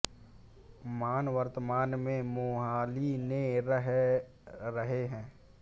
मान वर्तमान में मोहाली में रह रहे हैं